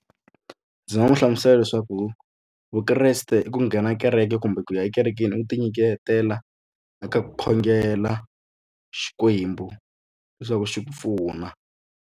Ndzi nga n'wi hlamusela leswaku vukreste i ku nghena kereke kumbe ku ya ekerekeni u ku tinyiketela eka ku khongela Xikwembu leswaku xi ku pfuna.